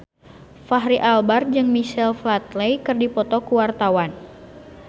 Fachri Albar jeung Michael Flatley keur dipoto ku wartawan